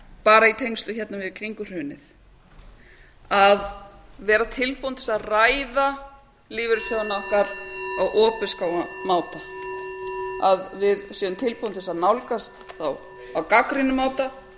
bara í tengslum við hrunið að vera tilbúin til að ræða lífeyrissjóðina okkar á opinskáan máta að við séum tilbúin til að nálgast þá á gagnrýninn máta gera